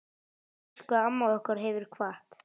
Elsku amma okkar hefur kvatt.